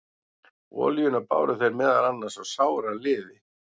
Olíuna báru þeir meðal annars á sára liði.